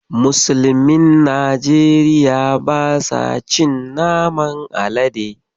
Musulmin Nigeria ba sa cin naman Alade.